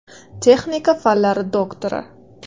Texnika fanlari doktori.